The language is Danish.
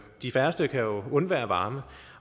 de færreste kan undvære varme